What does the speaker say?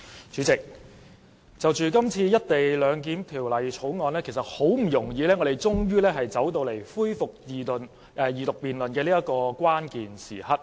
主席，《廣深港高鐵條例草案》好不容易終於走到恢復二讀辯論的關鍵時刻。